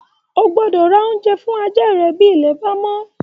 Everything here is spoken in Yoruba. O gbọ́dọ ra oúnjẹ fún ajá rẹ̀ bí ilẹ̀ bá mọ́?